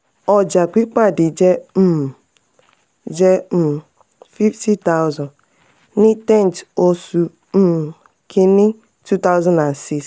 ọja pipade jẹ um jẹ um fifty thousand ni tenth oṣù um kini two thousand and six.